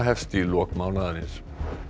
hefst í lok mánaðarins